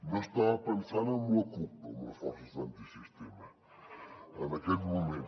no estava pensant en la cup amb les forces antisistema en aquells moments